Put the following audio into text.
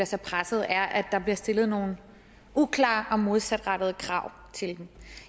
sig presset er at der bliver stillet nogle uklare og modsatrettede krav til dem